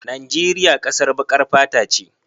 Najeriya ƙasar baƙar fata ce.